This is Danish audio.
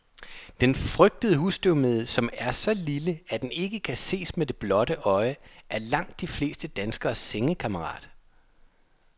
Den frygtede husstøvmide, som er så lille, at den ikke kan ses med det blotte øje, er langt de fleste danskeres sengekammerat.